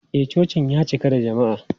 E, cocin ya cika da jama'a.